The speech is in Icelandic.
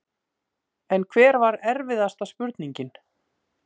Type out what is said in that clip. En hver var erfiðasta spurningin?